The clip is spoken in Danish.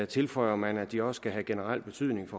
tilføjer man at de også skal have generel betydning